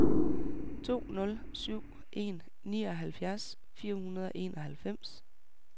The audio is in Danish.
to nul syv en nioghalvfjerds fire hundrede og enoghalvfems